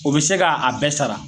O be se ga a bɛɛ sara